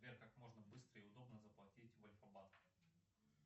сбер как можно быстро и удобно заплатить в альфа банке